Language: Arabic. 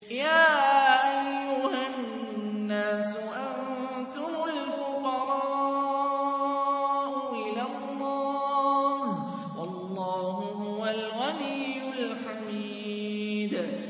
۞ يَا أَيُّهَا النَّاسُ أَنتُمُ الْفُقَرَاءُ إِلَى اللَّهِ ۖ وَاللَّهُ هُوَ الْغَنِيُّ الْحَمِيدُ